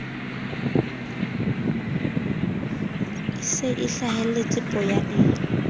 e se e hlahelletse poyaneng